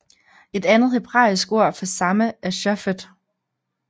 Et andet hebraisk ord for samme er shofet